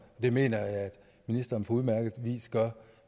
det mener jeg ministeren på udmærket vis gør